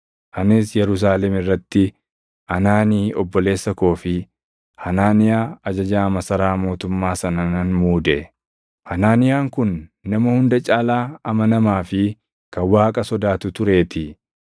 Anis Yerusaalem irratti Anaanii obboleessa koo fi Hanaaniyaa ajajaa masaraa mootummaa sana nan muude; Hanaaniyaan kun nama hunda caalaa amanamaa fi kan Waaqa sodaatu tureetii.